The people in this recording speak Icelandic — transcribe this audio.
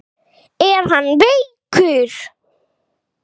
Er hann veikur?